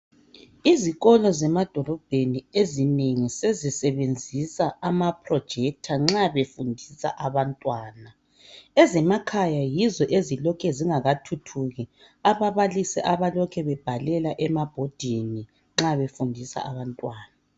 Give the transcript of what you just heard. Izikolo zemadolobheni sezisebenzisa ama- projector nxa befundisa abantwana ezemakhaya yizo ezilokhe zingakathuthuki ababalisi abalokhe bebhalela emabhodini nxa befundisa abantwana .